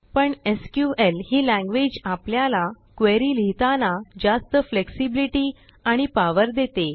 पण SQLही languageआपल्याला क्वेरी लिहिताना जास्त फ्लेक्झिब्लिटी आणि powerदेते